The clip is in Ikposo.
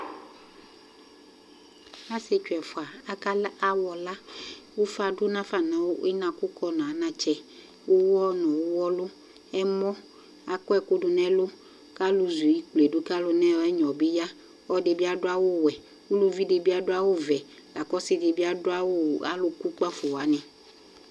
Asitsu ɛfua akala awɔla kʋ ʋfa dʋ na fa nʋ inakʋkɔ nʋ anatsɛ, ʋwɔ nʋ ʋwɔlʋ, ɛmɔ Akɔ ɛkʋ dʋ nɛlʋ kʋ alʋ zu ikple du kalʋ nʋ ɛnyɔ bi ya Ɔlɔdi bi adʋ awu wɛ Ʋluvi di bi adu awu vɛ la kʋ ɔsi di bi adu awu, ɔlʋ kʋ kpafo wani